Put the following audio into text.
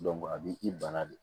a b'i bana de